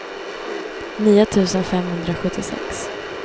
nio tusen femhundrasjuttiosex